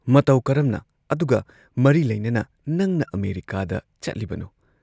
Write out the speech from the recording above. ꯃꯇꯧ ꯀꯔꯝꯅ ꯑꯗꯨꯒ ꯃꯔꯤ ꯂꯩꯅꯅ ꯅꯪꯅ ꯑꯃꯦꯔꯤꯀꯥꯗ ꯆꯠꯂꯤꯕꯅꯣ?